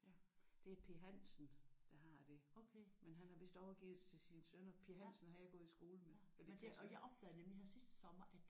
Det er P Hansen der har det. Men han har vist overgivet det til sine sønner. P Hansen har jeg gået i skole med eller i klasse med